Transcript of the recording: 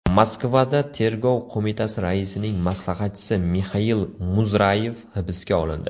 Moskvada Tergov qo‘mitasi raisining maslahatchisi Mixail Muzrayev hibsga olindi.